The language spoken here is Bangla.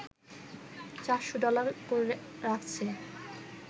৪০০ ডলার করে রাখছে